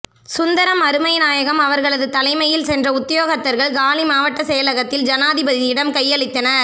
சுந்தரம் அருமைநாயகம் அவர்களது தலைமையில் சென்ற உத்தியோகத்தர்கள் காலி மாவட்ட செயலகத்தில் ஜனாதிபதியிடம் கையளித்தனர்